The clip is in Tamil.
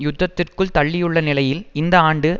யுத்தத்திற்குள் தள்ளியுள்ள நிலையில் இந்த ஆண்டு